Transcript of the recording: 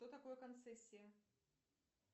что такое концессия